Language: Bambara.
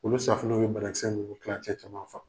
Olu safinɛ o bɛ bana kisɛ ninnu tilancɛ caman faga